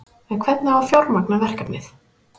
En hvernig á að fjármagna verkefnið?